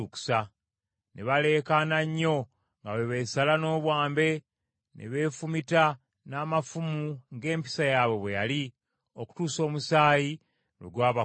Ne baleekaana nnyo nga bwe beesala n’obwambe ne beefumita n’amafumu ng’empisa yaabwe bwe yali, okutuusa omusaayi lwe gwabakulukuta.